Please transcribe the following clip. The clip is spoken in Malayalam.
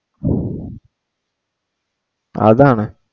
അതാണ്